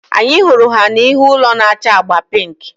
Anyị hụrụ ha n'ihu ụlọ na-acha agba pink